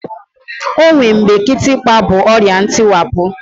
O nwe mgbe kịtịkpa bụ ọrịa ntịwapụ